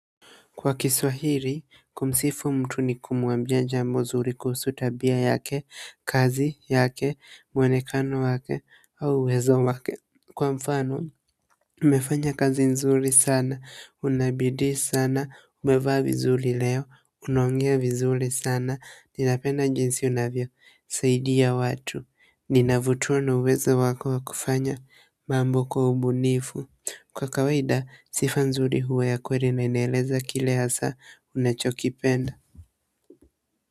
Kwa Kiswahili, kumsifu mtu ni kumwambia jambo zuri kuhusu tabia yake, kazi yake, mwonekano wake, au uwezo wake. Kwa mfano, umefanya kazi nzuri sana, unabidii sana, umevaa vizuri leo, unaongea vizuri sana, ninapenda jinsi unavyo, saidia watu. Ninavutwa na uwezo wako wa kufanya mambo kwa ubunifu kwa kawaida, sifa nzuri huwa ya kweli na ineleza kile hasa unacho kipenda.